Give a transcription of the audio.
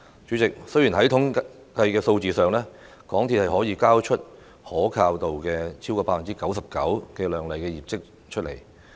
主席，在統計數字上，港鐵公司可以交出可靠度超過 99% 的亮麗業績。